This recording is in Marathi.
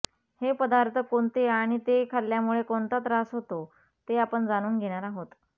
हे पदार्थ कोणते आणि ते खाल्ल्यामुळे कोणता त्रास होतो ते आपण जाणून घेणार आहोत